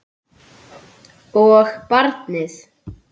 Og barnið.